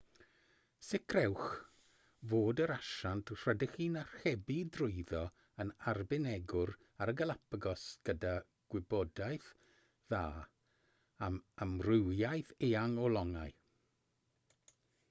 sicrhewch fod yr asiant rydych chi'n archebu drwyddo yn arbenigwr ar y galapagos gyda gwybodaeth dda am amrywiaeth eang o longau